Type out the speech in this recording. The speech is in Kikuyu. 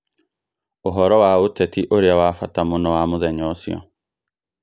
Ũhoro wa ũteti ũrĩa wa bata mũno wa mũthenya ũcio